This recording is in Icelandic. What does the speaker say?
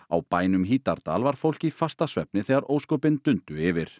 á bænum Hítardal var fólk í fasta svefni þegar ósköpin dundu yfir